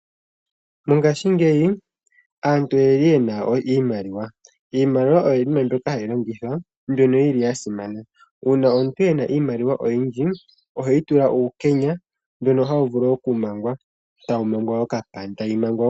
Mongashingeyi aantu oye na iimaliwa. Iimaliwa oyo iinima mbyoka hayi longithwa mbyoka ya simana. Uuna omuntu e na iimaliwa oyindji, oheyi tula uukenya mboka tawu vulu okumangwa, tayi mangwa okapandi.